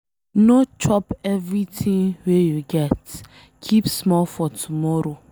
No chop everything wey you get, keep small for tomorrow.